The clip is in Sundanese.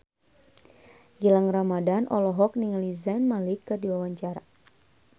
Gilang Ramadan olohok ningali Zayn Malik keur diwawancara